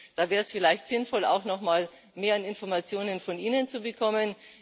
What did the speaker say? Da wäre es vielleicht sinnvoll, auch nochmal mehr Informationen von Ihnen zu bekommen.